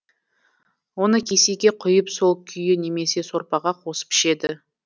оны кесеге құйып сол күйі немесе сорпаға қосып ішеді